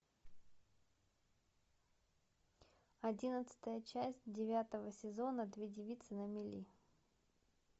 одиннадцатая часть девятого сезона две девицы на мели